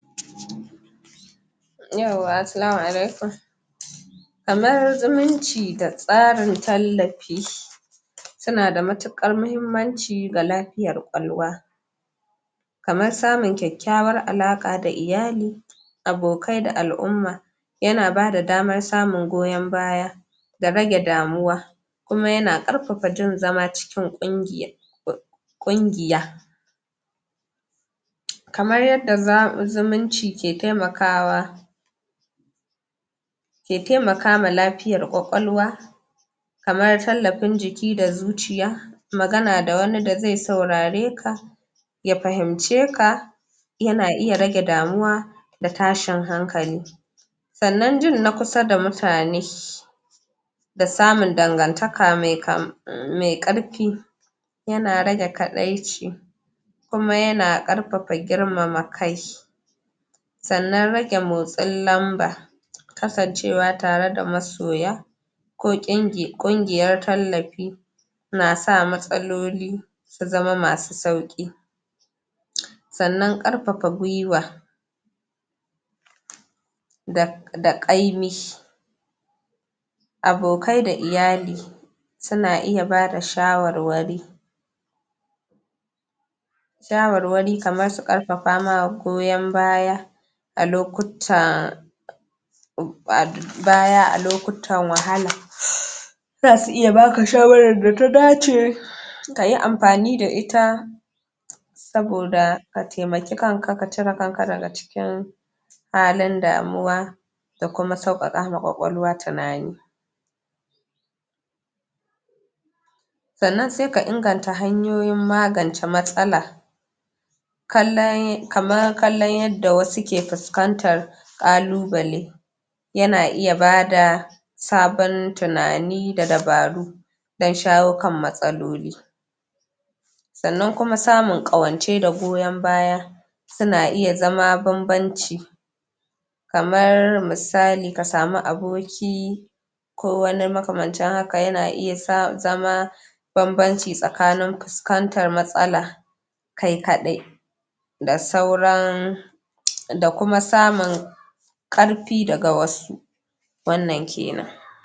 yauwa assalamu alaikum kamar zumunci da tsarin tal lafi suna da al' muhmmanci ga lafiya ƙwaƙwalwa kamar samun kyakyawan alaƙa da iyali abokai da al'umma yana bada damar samun goyon baya da rage damuwa kuma yana ƙarfafa jin zama cikin ƙungiya ƙungiya kamar yadda zumunci ke taimakawa ke taimakawa lafiyar ƙwaƙwalwa amma tallafin jiki da zuciya magana da wani dazai saurare ka ya fahimce ka yana iya rege damuwa da tashin hankali sannan jin nakusa da mutane da samun dangantaka mai kam mai ƙarfi yana rage kaɗaici kuma yana ƙarfafa girmama kai sanan rage motsin lamba kasancewa tar da masoya ko ƙungiyan tallafi nasa matsal; li su zama masu sau ƙ sannan ƙarfafa gwiwa da da ƙaimi abokai da iyali suna iya bada shawarwari shawarwari kamar su ƙarfafa ma goyon baya alo kut taa baya a lokutan wahala zasu iya baka shawaran data dace kayi amfani da ita saboda ka taimaki kanka ka cire kanka daga ciki daga halin damuwa da kuma suƙaƙa wa ƙwaƙwalwa tunani sanan sai ka inganta hanyoyin magance matsala kallan kamar kallon yadda wasu k5 fuskantar ƙaluɓale yana iya bada sabon tunani da dabaru dan shawo kan matsaloli sannan kuma samun ƙawance da goyon baya ana iya zama banbanci kamar misali ka sami aboki kowani makamancin haka yana iya zama banbanci tsakanin ku fuskantar matsala kai kaɗ da sauran da kuma samun ƙarfi daga wasu wannan kanan.